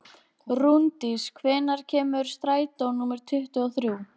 Rúndís, hvenær kemur strætó númer tuttugu og þrjú?